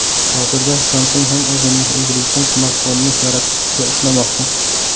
Hozirda Samsung ham o‘zining egiluvchan smartfonini yaratish ustida ishlamoqda.